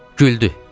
Güldü.